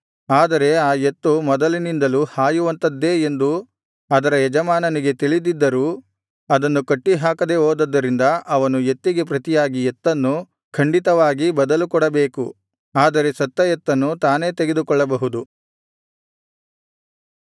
ಆದರೆ ಆ ಎತ್ತು ಮೊದಲಿನಿಂದಲೂ ಹಾಯುವಂಥದ್ದೇ ಎಂದು ಅದರ ಯಜಮಾನನಿಗೆ ತಿಳಿದಿದ್ದರೂ ಅದನ್ನು ಕಟ್ಟಿಹಾಕದೇ ಹೋದದ್ದರಿಂದ ಅವನು ಎತ್ತಿಗೆ ಪ್ರತಿಯಾಗಿ ಎತ್ತನ್ನು ಖಂಡಿತವಾಗಿ ಬದಲು ಕೊಡಬೇಕು ಆದರೆ ಸತ್ತ ಎತ್ತನ್ನು ತಾನೇ ತೆಗೆದುಕೊಳ್ಳಬಹುದು